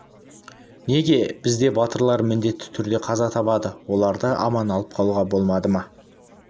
неге бізде батырлар міндетті түрде қаза табады оларды аман алып қалуға болмады ма